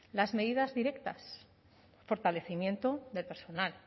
las medidas directas fortalecimiento del personal